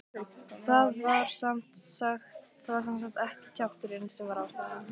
Það var sem sagt ekki kjafturinn sem var ástæðan.